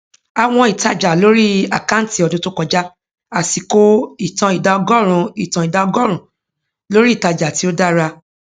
àwọn ìtájà lórí àkáǹtí ọdún tó kọjá àsìkò ìtàn ìdá ọgórùnún ìtàn ìdá ọgórùnún lórí ìtájà tí ó dára